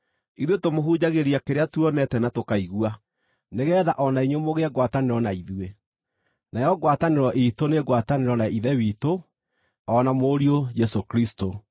Ithuĩ tũmũhunjagĩria kĩrĩa tuonete na tũkaigua, nĩgeetha o na inyuĩ mũgĩe ngwatanĩro na ithuĩ. Nayo ngwatanĩro iitũ nĩ ngwatanĩro na Ithe witũ, o na Mũriũ Jesũ Kristũ.